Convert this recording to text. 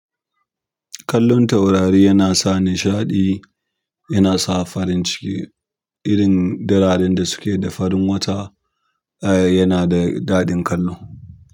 Kallon taurari yana sa nishaɗi yana sa farin ciki. Irin dararen da suke da farin wata, eh yana da daɗin kallo.